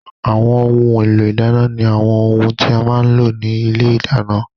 Àwọn ohun èlò ìdáná ni àwọn ohun tí a má ń lò ní ilé ìdáná